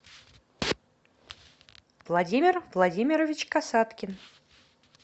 владимир владимирович касаткин